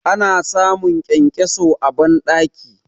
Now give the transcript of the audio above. Ana samun kyankyaso a bandaki.